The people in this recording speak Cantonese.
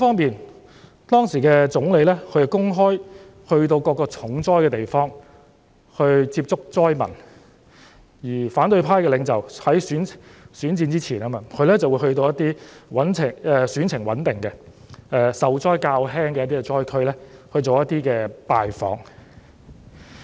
另一方面，當時的總理前往各個重災區公開地接觸災民，而由於是選戰前，反對派領袖則前往一些選情穩定、受災較輕的災區進行拜訪。